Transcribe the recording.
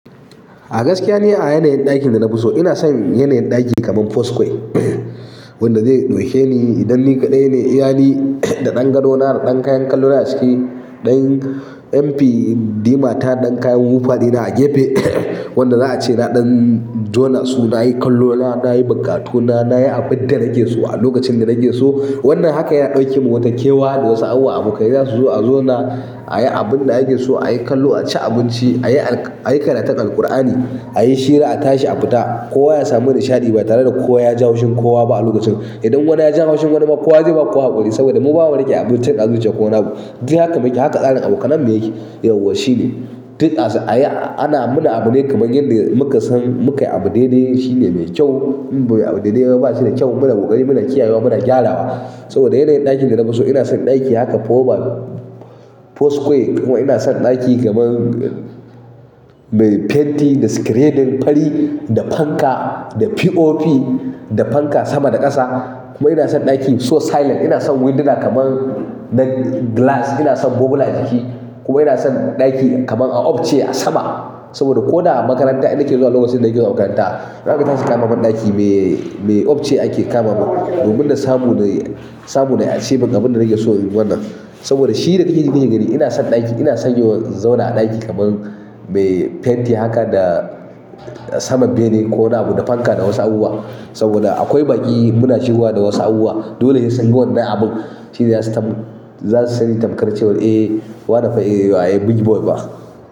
A gaskiya ne a yanayin ɗakin da na fi so ina son yanayin ɗaki kaman four square wanda zai ɗauke ni idan ni kaɗai ne iyani da ɗan gado na da ɗan kayan kallo na a ciki, ɗan MP Dima ta ɗan kayan wufari na a gefe wanda za a ce na ɗan jona su nayi kallo na nayi bukatu na nayi abinda nake so a lokacin da nake so. Wannan hakan ya ɗauke mu wata kewa da wasu awawa abokai zasu zo a zona ayi abun da ake so ayi kallo, a ci abinci, ayi ayi karantar Al-Ƙur'ani, ayi shira, a tashi a fita. Kowa ya samu nishaɗi ba tare da kowa ya ji haushin kowa ba a lokacin. Idan wani ya ji haushin wani ma kowa zai ba kowa haƙuri saboda mu bawa nake abincin a zuciya kowa nagu. Duk haka yake haka tsarin abokanai me yake, yauwa shine. Duk asu ayi ana mana abu nai kaman yanda muka san muka yi abu dai dai shine mai kyau. Abun dai dai ba shi da kyau muna bokari muna kiyawa muna gyarawa. Saboda yanayin ɗakin da na fi so ina son ɗaki haka four by four square kuma ina son ɗaki kaman mai fenti da screeding fari da fanka da POP da fanka sama da ƙasa. Kuma ina son ɗaki so silent ina son windona kaman na glass ina son bubble a ciki. Kuma ina son ɗaki kaman a upcare ce a sama saboda ko da makaranta ina ke zuwa lokacin da nake so in saurari ita, za a iya tashi kama min ɗaki me ofis ce ake kama mu domin na samu na samu na yi asibin abin da nake so wannan. Saboda shi da ke gani ina son ɗaki ina son yiwu zona a ɗaki kaman mai fenti haka da sama bene ko na buɗe fanka da wasu awuwa saboda akwai baƙi muna shigowa da wasu abubuwa. Dole sai wannan abun shi za su sani tamkarcewar eh wa na fa big boy ba.